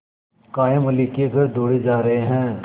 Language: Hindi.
कायमअली के घर दौड़े जा रहे हैं